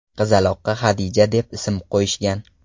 Qizaloqqa Hadija deb ism qo‘yishgan.